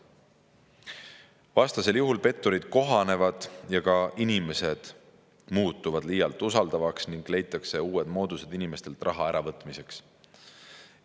Vastasel juhul petturid kohanevad ja ka inimesed muutuvad liialt usaldavaks ning leitakse uued moodused inimestelt raha äravõtmiseks.